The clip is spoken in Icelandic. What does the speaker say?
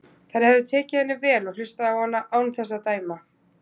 Þær hefðu tekið henni vel og hlustað á hana án þess að dæma.